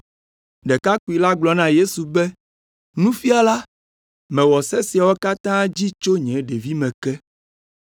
Ɖekakpui la gblɔ na Yesu be, “Nufiala, mewɔ se siawo katã dzi tso nye ɖevime ke.”